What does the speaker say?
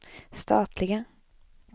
statliga